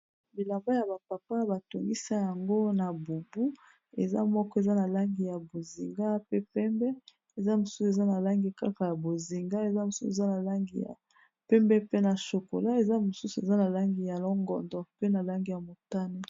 bilamba ya bapapa batongisa yango na bubu eza moko eza na langi ya bozinga pe pembe eza mosusu eza na langi kaka ya bozinga eza mosusu eza na langi ya pembe pe na shokola eza mosusu eza na langi ya longondo pe na langi ya motane